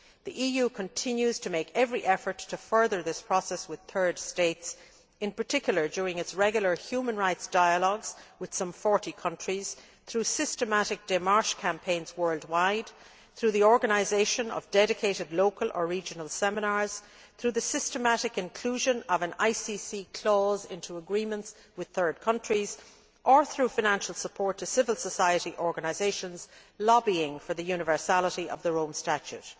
The EU continues to make every effort to further this process with third states, in particular during its regular human rights dialogues with some 40 countries through systematic demarche campaigns worldwide, through the organisation of dedicated local or regional seminars, through the systematic inclusion of an ICC clause in agreements with third countries, and through financial support to civil society organisations lobbying for the universality of the Rome Statute.